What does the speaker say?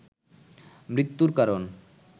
মৃত্যুর কারণ